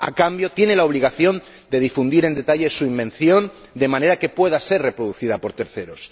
A cambio, tiene la obligación de difundir en detalle su invención de manera que pueda ser reproducida por terceros.